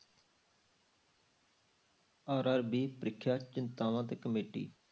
RRB ਪ੍ਰੀਖਿਆ ਚਿੰਤਾਵਾਂ ਤੇ committee